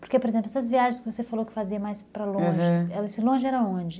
Porque, por exemplo, essas viagens que você falou que fazia mais para longe, aham, esse longe era onde?